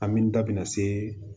An min da bɛna se